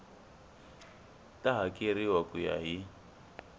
ta hakeriwa ku ya hi